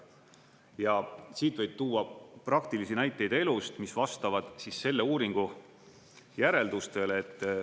Ja siit võib tuua praktilisi näiteid elust, mis vastavad siis selle uuringu järeldustele.